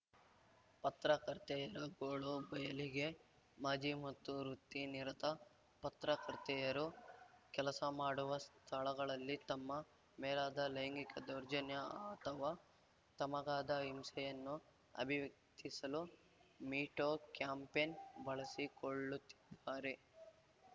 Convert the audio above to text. ಪತ್ರಕರ್ತೆಯರ ಗೋಳು ಬಯಲಿಗೆ ಮಾಜಿ ಮತ್ತು ವೃತ್ತಿನಿರತ ಪತ್ರಕರ್ತೆಯರು ಕೆಲಸ ಮಾಡುವ ಸ್ಥಳಗಳಲ್ಲಿ ತಮ್ಮ ಮೇಲಾದ ಲೈಂಗಿಕ ದೌರ್ಜನ್ಯ ಅಥವಾ ತಮಗಾದ ಹಿಂಸೆಯನ್ನು ಅಭಿವ್ಯಕ್ತಿಸಲು ಮೀಟೂ ಕ್ಯಾಂಪೇನ್‌ ಬಳಸಿಕೊಳ್ಳುತ್ತಿದ್ದಾರೆ